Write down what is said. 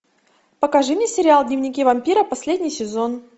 покажи мне сериал дневники вампира последний сезон